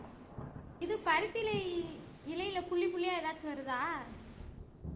இது பருத்தி இலை இலைல புள்ளி புள்ளியா ஏதாச்சும் வருதா